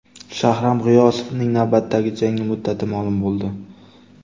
Shahram G‘iyosovning navbatdagi jangi muddati ma’lum bo‘ldi.